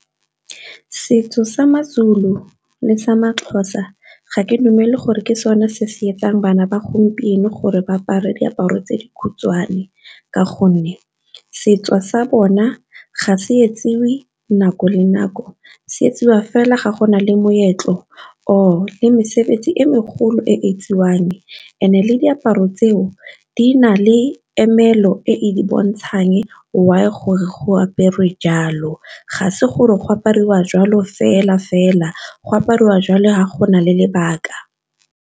Setso sa maZulu le sa maXhosa ga ke dumele gore ke sone se se etsang bana ba gompieno gore ba apare diaparo tse di khutshwane, ka gonne setso sa bona ga se etsiwe nako le nako se etsiwa fela ga go na le moetlo or le mesebetsi e megolo e , and-e le diaparo tseo di na le emelo e e bontshang why gore go apere jalo, ga se gore go apariwa jwalo fela-fela go apariwa jalo ga go na le lebaka.